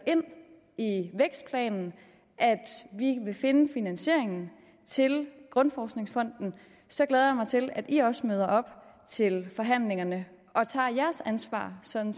ind i vækstplanen at vi vil finde finansieringen til grundforskningsfonden så glæder jeg mig til at i også møder op til forhandlingerne og tager jeres ansvar sådan